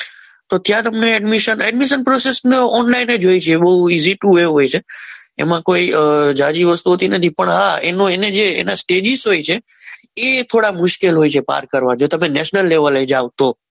તો ત્યાં તમને એડમિશન પ્રોસેસ ઓનલાઇન જોઈ છે એ બહુ ઇઝી ટુ એવું હોય છે એમાં કોઈ ઝાઝી વસ્તુ હોતી નથી પણ હા એની એની સ્ટેજિસ હોય છે એ થોડાક મુશ્કેલ હોય છે. પાર્ક કરવા જો તમે નેશનલ લેવલે જાવ તો